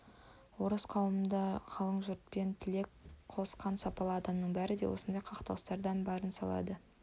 орыс қауымында қалың жұртпен тілек қосқан сапалы адамның бәрі де осындай қақтығыстарда барын салады